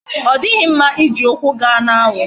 Odighi mma iji ukwu gaa na anwu